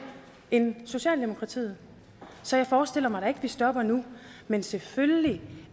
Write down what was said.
end socialdemokratiet så jeg forestiller mig at vi stopper nu men selvfølgelig